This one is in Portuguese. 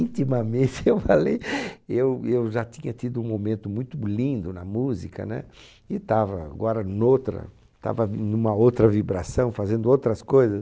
Intimamente, eu falei, eu eu já tinha tido um momento muito lindo na música, né? E estava agora noutra, estava numa outra vibração, fazendo outras coisas.